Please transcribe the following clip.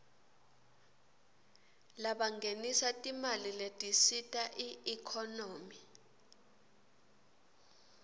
labangenisa timali letisita iekhonomy